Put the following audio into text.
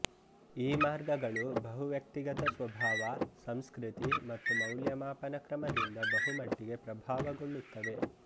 ಈ ಮಾರ್ಗಗಳು ಬಹುವ್ಯಕ್ತಿಗತ ಸ್ವಭಾವ ಸಂಸ್ಕೃತಿ ಮತ್ತು ಮೌಲ್ಯಮಾಪನ ಕ್ರಮದಿಂದ ಬಹುಮಟ್ಟಿಗೆ ಪ್ರಭಾವಗೊಳ್ಳುತ್ತವೆ